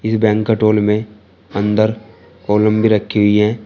ये banquet hall में अंदर कॉलम भी रखी हुई है।